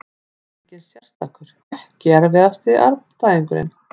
Engin sérstakur EKKI erfiðasti andstæðingur?